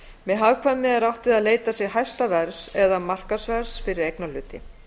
með hagkvæmni er átt við að leitað sé hæsta verðs eða markaðsverðs fyrir eignarhluti